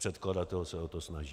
Předkladatel se o to snaží.